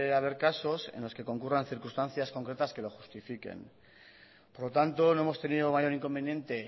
haber cosas en los que concurran circunstancias concretas que lo justifiquen por lo tanto no hemos tenido mayor inconveniente